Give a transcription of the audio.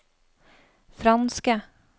franske